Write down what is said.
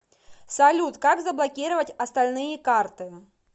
салют как заблокировать остальные карты